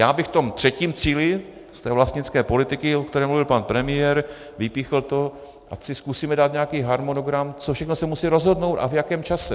Já bych v tom třetím cíli, z té vlastnické politiky, o které mluvil pan premiér, vypíchl to, ať si zkusíme dát nějaký harmonogram, co všechno se musí rozhodnout a v jakém čase.